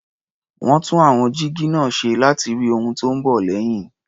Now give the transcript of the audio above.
Wọ́n tún àwọn jígí náà ṣe láti rí ohun tó ń bọ̀ lẹ́yìn.